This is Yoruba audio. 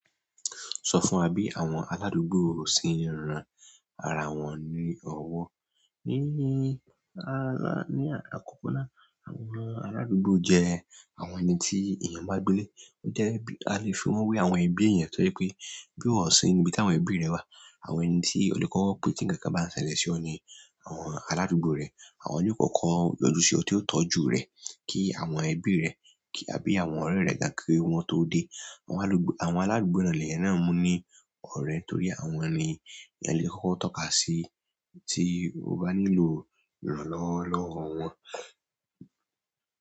Sọ fún wa bí àwọn aládùúgbò ṣe ń ran ara wọn ní ọwọ́? Hmm. A ni akọkọ náà, àwọn aladugbo jẹ àwọn ẹniti ènìyàn bàa gbé lé. O jẹ́ bí a lè fi wé àwọn ẹbí èèyàn tojẹ pé bí o ṣe ń gbé tí àwọn ẹbí rẹ wà, àwọn ẹni tí o lè kọ́kọ́ pé tí ǹkan bá ń ṣẹlẹ̀ sí ọ ni àwọn aládùúgbò rẹ. Àwọn ní ó kọ́kọ́ yọjú sí ọ tí ó tọ́jú rẹ, kí àwọn ẹbí rẹ tàbí àwọn ọ̀rẹ́ rẹ gan kí wọ́n tó dé. Àwọn aládùúgbò náà mú ní ọ̀rẹ́ torí àwọn ni ẹ lè kọ́kọ́ tọ́ka sí tí o bá nílò ìrànlọ́wọ́ wọn.